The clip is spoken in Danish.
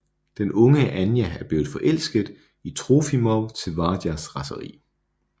Den unge Anja er blevet forelsket i Trofimov til Varjas raseri